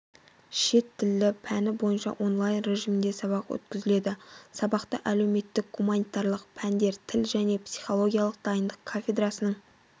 шет тілі пәні бойынша онлайн-режимінде сабақ өткізілді сабақты әлеуметтік-гуманитарлық пәндер тіл және психологиялық дайындық кафедрасының